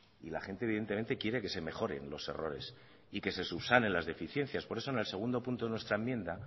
y la gente evidentemente quiere que se mejoren los errores y que se subsanen las deficiencias por eso en el segundo punto de nuestra enmienda